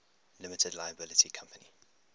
limited liability company